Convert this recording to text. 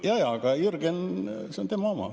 Jaa-jaa, see on Jürgeni oma.